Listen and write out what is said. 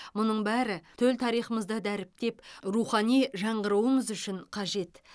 мұның бәрі төл тарихымызды дәріптеп рухани жаңғыруымыз үшін қажет